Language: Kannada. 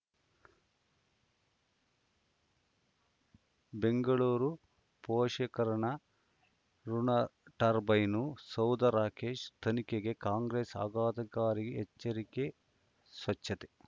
ಬೆಂಗಳೂರು ಪೋಷಕಋಣ ಋಣ ಟರ್ಬೈನು ಸೌಧ ರಾಕೇಶ್ ತನಿಖೆಗೆ ಕಾಂಗ್ರೆಸ್ ಆಘಾತಕಾರಿ ಎಚ್ಚರಿಕೆ ಸ್ವಚ್ಛತೆ